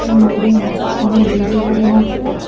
নদীর মাঝখানে দুইটি হরিণ আছে।